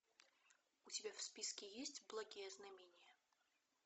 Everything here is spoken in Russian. у тебя в списке есть благие знамения